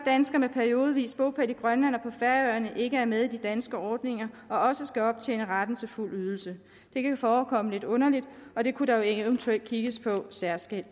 danskere med periodevis bopæl i grønland og på færøerne ikke er med i de danske ordninger og også skal optjene retten til fuld ydelse det kan forekomme lidt underligt og det kunne der eventuelt kigges på særskilt